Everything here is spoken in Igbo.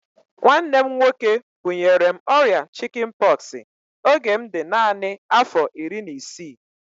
Nwanne m nwoke bunyere m ọrịa chikin pọksi oge m dị naanị afọ iri na isii